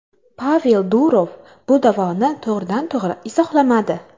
Pavel Durov bu da’voni to‘g‘ridan to‘g‘ri izohlamadi.